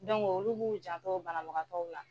olu b'u jantɔ banabagatɔw la.